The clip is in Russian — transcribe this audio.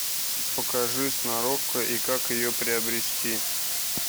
покажи сноровка и как ее приобрести